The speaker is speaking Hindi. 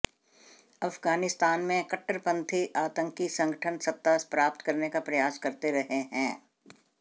आफगानिस्तान में कट्टर पंथी आतंकी संगठन सत्ता प्राप्त करने का प्रयास करते रहे हैं